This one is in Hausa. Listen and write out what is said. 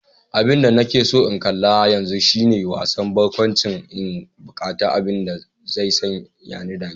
Abinda nake so in kalla yanzu shine wasan barkwanci, ina buqatar abin da zai sani dariya.